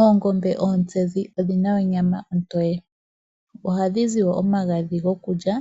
Oongombe oontsenzi odhi na onyama ontoye. Oha dhi zi wo omagadhi gokulya